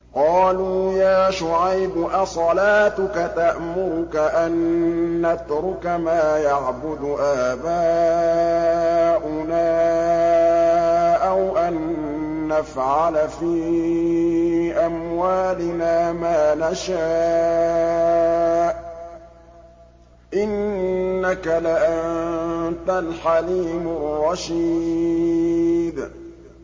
قَالُوا يَا شُعَيْبُ أَصَلَاتُكَ تَأْمُرُكَ أَن نَّتْرُكَ مَا يَعْبُدُ آبَاؤُنَا أَوْ أَن نَّفْعَلَ فِي أَمْوَالِنَا مَا نَشَاءُ ۖ إِنَّكَ لَأَنتَ الْحَلِيمُ الرَّشِيدُ